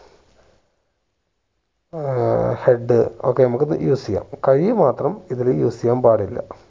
ഏർ head ഒക്കെ നമ്മക്ക് use ചെയ്യാം കൈ മാത്രം ഇതില് use ചെയ്യാൻ പാടില്ല